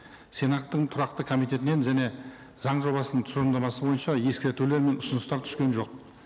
сенаттың тұрақты комитетінен және заң жобасының тұжырымдамасы бойынша ескертулер мен ұсыныстар түскен жоқ